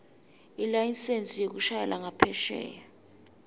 ilayisensi yekushayela ngaphesheya